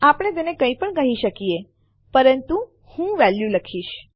આપણે તેને કઈ પણ કહી શકીએ પરંતુ હું વેલ્યુ લખીશ